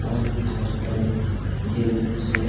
और भी बहुत सारे जीव-जंतु से --